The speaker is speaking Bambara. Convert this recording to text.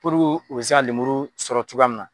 u bi se ka lemuru sɔrɔ cogoya mun na.